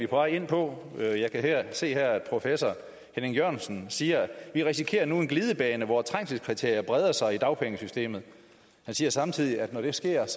på vej ind på jeg kan se her at professor henning jørgensen siger vi risikerer nu en glidebane hvor trængselskriterier breder sig i dagpengesystemet han siger samtidig at når det sker er